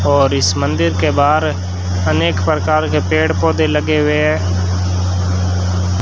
और इस मंदिर के बाहर अनेक प्रकार के पेड़ पौधे लगे हुए हैं।